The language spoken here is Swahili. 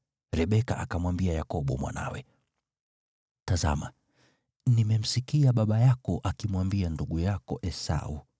Rebeka akamwambia Yakobo mwanawe, “Tazama, nimemsikia baba yako akimwambia ndugu yako Esau,